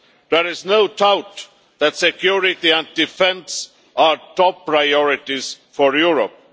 There is no doubt that security and defence are top priorities for Europe.